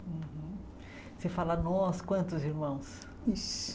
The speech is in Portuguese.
Você fala nós, quantos irmãos? Uns